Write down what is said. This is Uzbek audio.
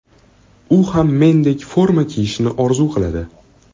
U ham mendek forma kiyishni orzu qiladi.